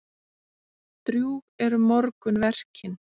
Drjúg eru morgunverkin.